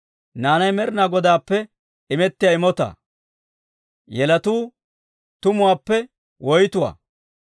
Naanay Med'inaa Godaappe imettiyaa imotaa; yelotuu tumuwaappe woytuwaa.